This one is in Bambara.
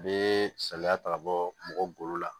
Bɛ saliya ta ka bɔ mɔgɔ golo la